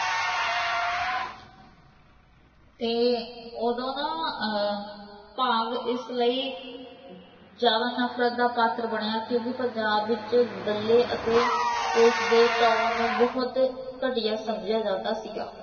ਤੇ ਉਦੋਂ ਨਾ ਭਾਗ ਇਸ ਲਈ ਜਿਆਦਾ ਨਫਰਤ ਦਾ ਪਾਤਰ ਬਣਿਆ ਕਿਉਕਿ ਪੰਜਾਬ ਵਿੱਚ ਦੱਲੇ ਅਤੇ police ਦੇ ਟਾਊਣ ਨੂੰ ਬਹੁਤ ਘਟੀਆ ਸਮਜਿਆ ਜਾਂਦਾ ਸੀਗਾ